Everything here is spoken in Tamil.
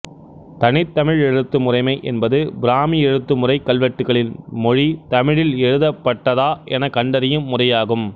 தனித்தமிழ் எழுத்து முறைமை என்பது பிராமி எழுத்துமுறை கல்வெட்டுகளின் மொழி தமிழில் எழுதப்பட்டதா என கண்டறியும் முறையாகும்